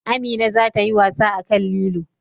Amina za ta yi wasa akan lilo